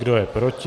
Kdo je proti?